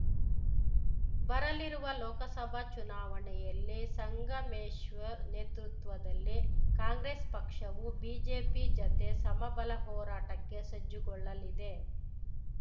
ಬರಲಿರುವ ಲೋಕಸಭಾ ಚುನಾವಣೆಯಲ್ಲಿ ಸಂಗಮೇಶ್ವರ್‌ ನೇತೃತ್ವದಲ್ಲಿ ಕಾಂಗ್ರೆಸ್‌ ಪಕ್ಷವು ಬಿಜೆಪಿ ಜತೆ ಸಮಬಲ ಹೋರಾಟಕ್ಕೆ ಸಜ್ಜುಗೊಳ್ಳಲಿದೆ